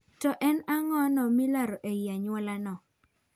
To en ang'ono ma ilaro ei anyuola no?